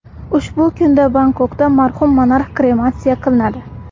Ushbu kunda Bangkokda marhum monarx krematsiya qilinadi.